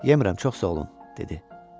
Yemərəm, çox sağ olun, dedi.